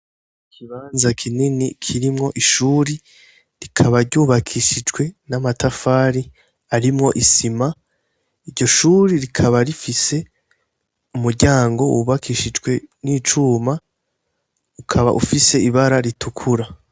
Ikibanza kinini kirimwo ishure, rikaba ryubakishijwe n'amatafari arimwo isima. Iryo shure rikaba rifise umuryango wubakishijwe n'icuma, ukaba ufise ibara ritukura.